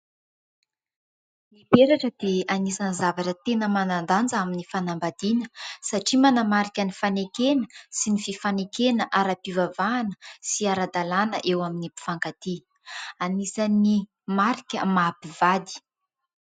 Ny peratra dia anisan'ny zavatra tena manan-danja amin'ny fanambadiana satria manamarika ny fanekena sy ny fifanekena ara-pivavahana sy ara-dalàna eo amin'ny mpifankatia, anisan'ny marika maha mpivady.